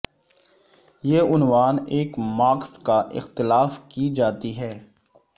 یہ عنوان ایک مارکس کا اختلاف کی جاتی ہیں